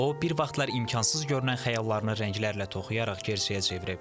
O, bir vaxtlar imkansız görünən xəyallarını rənglərlə toxuyaraq gerçəyə çevrib.